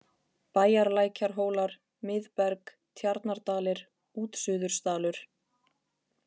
Bæjarlækjarhólar, Mið-Berg, Tjarnardalir, Útsuðursdalur